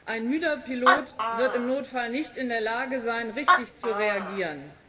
Ein müder Pilot wird im Notfall nicht in der Lage sein, richtig zu reagieren.